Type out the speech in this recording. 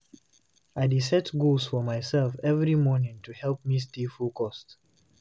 I dey set goals for myself every morning to help me stay motivated.